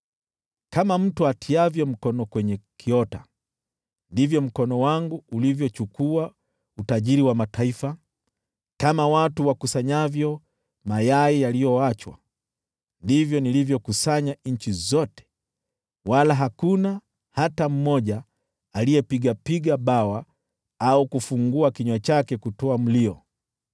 Kama mtu atiavyo mkono kwenye kiota, ndivyo mkono wangu ulivyochukua utajiri wa mataifa; kama watu wakusanyavyo mayai yaliyoachwa, ndivyo nilivyokusanya nchi zote; wala hakuna hata mmoja aliyepiga bawa au kufungua kinywa chake kutoa mlio.’ ”